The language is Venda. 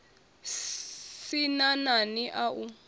sin a nani a u